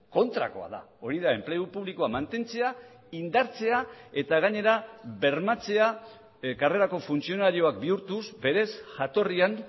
kontrakoa da hori da enplegu publikoa mantentzea indartzea eta gainera bermatzea karrerako funtzionarioak bihurtuz berez jatorrian